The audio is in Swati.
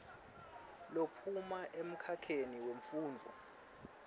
lophuma emkhakheni wemfundvo